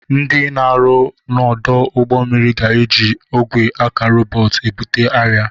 Ndị na-arụ n'ọdụ ụgbọ mmiri ga-eji ogwe aka rọbọt ebutu arịa.